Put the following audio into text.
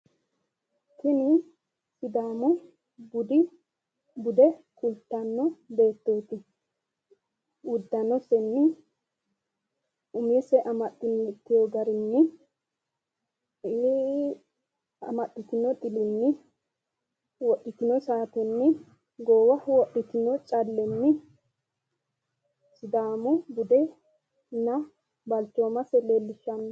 Tini sidaamu bude kultanno beettooti uddanosenni, umose amaxxitino garinni, amaxxitino xilinni, wodhitino saatenni, goowaho wodhitino callenni sidaamu budenna balchoomasi leellishshanno.